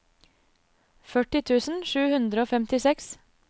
førti tusen sju hundre og femtiseks